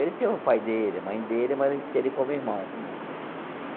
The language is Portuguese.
Ele tem o pai dele, a mãe dele, mas a gente tem ele como irmão. Uhum.